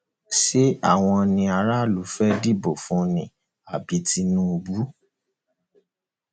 ṣé àwọn ni aráàlú fẹẹ dìbò fún ni àbí tinúbù